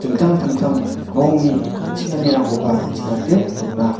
dingtang dingtang rongni ching·anirangkoba ching·ate dona.